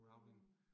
Rowling